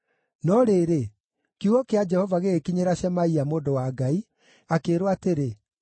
No rĩrĩ, kiugo kĩa Jehova gĩgĩkinyĩra Shemaia mũndũ wa Ngai, akĩĩrwo atĩrĩ,